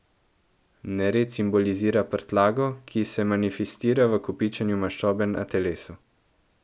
Nered simbolizira prtljago, ki se manifestira v kopičenju maščobe na telesu.